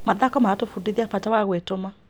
Mathako maratũbundithia bata wa gwĩtũma.